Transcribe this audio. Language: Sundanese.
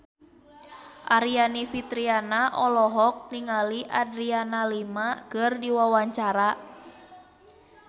Aryani Fitriana olohok ningali Adriana Lima keur diwawancara